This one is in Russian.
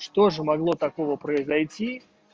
что же могло такого произойти